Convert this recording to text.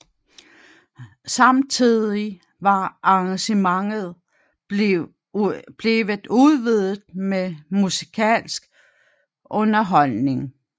Samtidig var arrangementet blevet udvidet med musikalsk underholdning